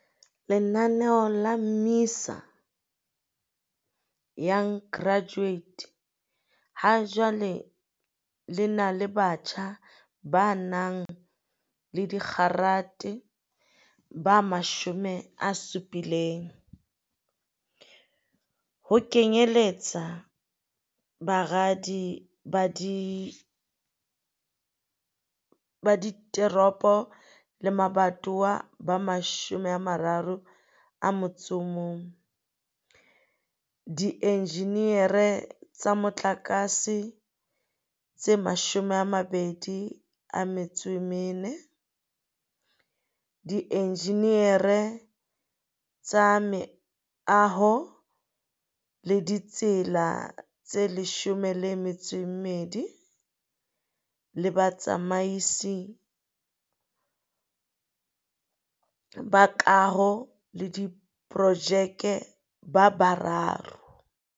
Lenaneo la MISA Young Graduate ha jwale lena le batjha ba nang le digrata ba 70, ho kenyelletsa baradi ba dit eropo le mabatowa ba 31, di enjineri tsa motlakatse tse 24, dienjineri tsa meaho le ditsela tse 12 le batsamaisi ba kaho le diprojeke ba bararo